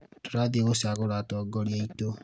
tũrathiĩ gũcagũra atongorĩa aitũ